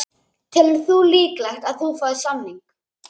Telur þú líklegt að þú fáir samning?